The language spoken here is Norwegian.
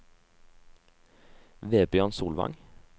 Vebjørn Solvang